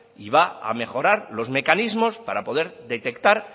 y va a mejorar los mecanismos para poder detectar